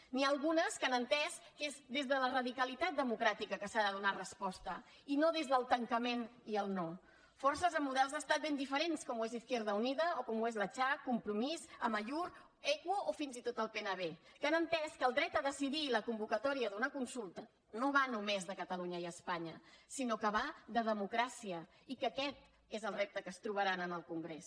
n’hi ha algunes que han entès que és des de la radicalitat democràtica que s’hi ha de donar resposta i no des del tancament i el no forces amb models d’estat ben diferents com ho és izquierda unida o com ho és la cha compromís amaiur equo o fins i tot el pnb que han entès que el dret a decidir i la convocatòria d’una consulta no van només de catalunya i espanya sinó que van de democràcia i que aquest és el repte que es trobaran en el congrés